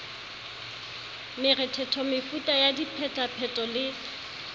morethetho metuta ya diphetapheto le